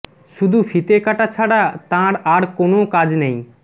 শুধু ফিতে কাটা ছাড়া তাঁর আর কোনও কাজ নেই